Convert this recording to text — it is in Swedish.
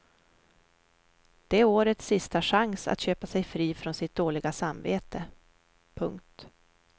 Det är årets sista chans att köpa sig fri från sitt dåliga samvete. punkt